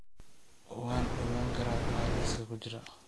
Waan ogaan karaa waxa liiska ku jira